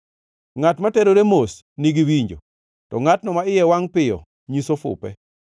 Ngʼat ma terore mos nigi winjo, to ngʼatno ma iye wangʼ piyo nyiso fupe.